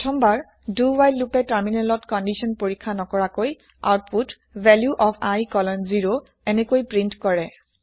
প্ৰথমবাৰ do while লোপে তাৰমিনেলত কন্দিচ্যন পৰিক্ষ্যা নকৰাকৈ আওতপোত ভেলিউ অফ i কলন 0 এনেকৈ প্ৰিন্ট কৰে